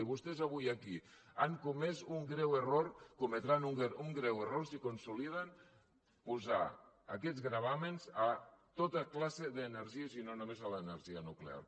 i vostès avui aquí han comés un greu error cometran un greu error si consoliden posar aquests gravàmens a tota classe d’energies i no només a l’energia nuclear